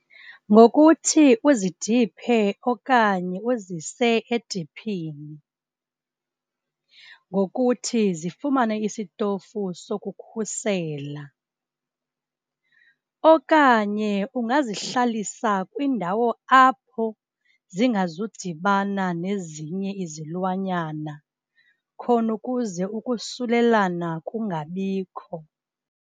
Ngokuthi uzidiphe okanye uzise ediphini, ngokuthi zifumane isitofu sokukhusela okanye ungazihlalisa kwindawo apho zingazudibana nezinye izilwanyana khona ukuze ukusulelana kungabikho.